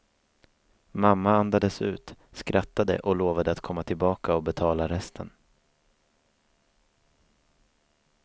Mamma andades ut, skrattade och lovade att komma tillbaka och betala resten.